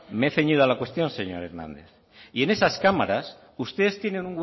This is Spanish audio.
me he ceñido a la cuestión señor hernández y en esas cámaras ustedes tienen